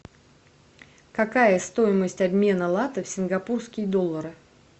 какая стоимость обмена лата в сингапурские доллары